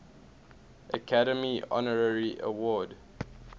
academy honorary award